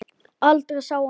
Aldrei sá hann